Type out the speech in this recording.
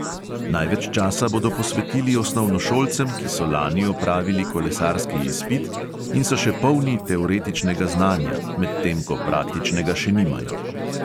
Največ časa bodo posvetili osnovnošolcem, ki so lani opravili kolesarski izpit in so še polni teoretičnega znanja, medtem ko praktičnega še nimajo.